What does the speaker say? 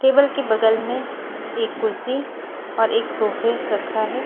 Table के बगल में एक कुर्सी और एक सोफे रखा है।